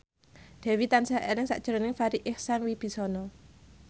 Dewi tansah eling sakjroning Farri Icksan Wibisana